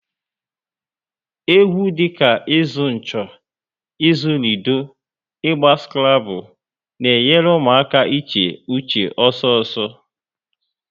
Egwu dị ka ịzụ ncho, ịzụ lido, Ịgba skrable na enyere ụmụaka iche uche ọsọ ọsọ